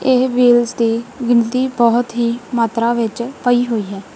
ਇਹ ਵ੍ਹੀਲਸ ਦੀ ਗਿਨਤੀ ਬਹੁਤ ਹੀ ਮਾਤਰਾ ਵਿੱਚ ਪਈ ਹੋਈ ਹੈ।